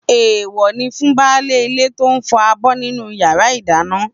Èèwọ̀ ni fún baálé ilé tó ń fọ abọ́ nínú yàrá ìdáná.